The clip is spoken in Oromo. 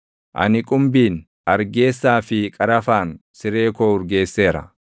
Ani qumbiin, argeessaa fi qarafaan siree koo urgeesseera.